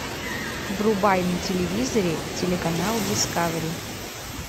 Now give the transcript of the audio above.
врубай на телевизоре телеканал дискавери